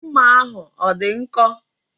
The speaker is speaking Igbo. Mma ahụ ọ dị nkọ?